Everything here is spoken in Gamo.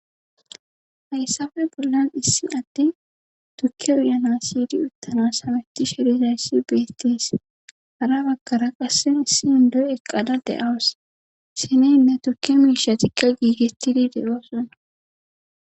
Hayssabe bollan issi attin tukke uyana siydi uttana sameti sherizayssi beettees hara baggara qassen issi indoy eqqada de7aws sineynne tukke miisha tikke giigetidi de7oosonna.